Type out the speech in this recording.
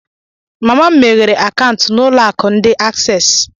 mama m meghere akaụntụ n'ulo aku ndi Aksesi